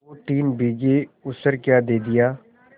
दोतीन बीघे ऊसर क्या दे दिया